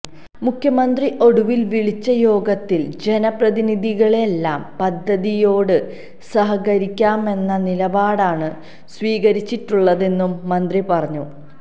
മുഖ്യമന്ത്രി ഒടുവില് വിളിച്ച യോഗത്തില് ജനപ്രതിനിധികളെല്ലാം പദ്ധതിയോട് സഹകരിക്കാമെന്ന നിലപാടാണ് സ്വീകരിച്ചിട്ടുള്ളതെന്നും മന്ത്രി പറഞ്ഞു